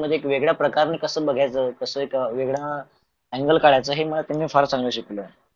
मध्ये वेगळ्या प्रकारन कस बघायच कस एक वेगळा angle काढायचं हे मी फार चांगल शिकलो आहे.